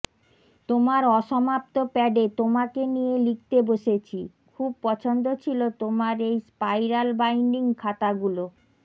তোমার অসমাপ্ত প্যাডে তোমাকে নিয়ে লিখতে বসেছি খুব পছন্দ ছিল তোমার এই স্পাইরাল বাইন্ডিং খাতাগুলো